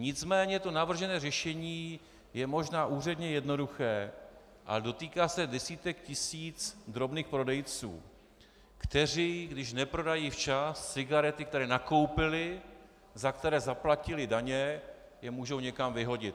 Nicméně to navržené řešení je možná úředně jednoduché, ale dotýká se desítek tisíc drobných prodejců, kteří když neprodají včas cigarety, které nakoupili, za které zaplatili daně, je můžou někam vyhodit.